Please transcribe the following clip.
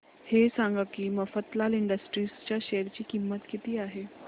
हे सांगा की मफतलाल इंडस्ट्रीज च्या शेअर ची किंमत किती आहे